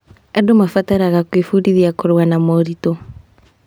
Andũ marabataraga gwĩbundithia kũrũa na moritũ.